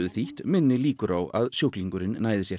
minni líkur á að sjúklingurinn nái sér